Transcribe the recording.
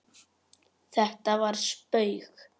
Þetta var spaug